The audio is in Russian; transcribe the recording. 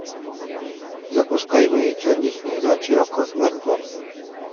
запускай мои черничные ночи окко смарт бокс